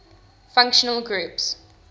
functional groups